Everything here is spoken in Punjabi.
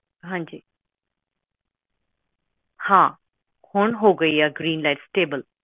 ਹਾਂਜੀ ਹਾਂ ਹੁਣ ਹੋ ਗਈ ਆ ਗ੍ਰੀਨ ਲਾਈਟ ਸਟੇਬਲ